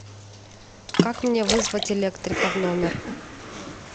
как мне вызвать электрика в номер